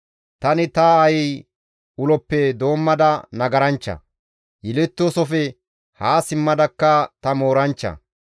Tani ta aayi uloppe doommada nagaranchcha; yelettoosofe haa simmadakka ta mooranchcha.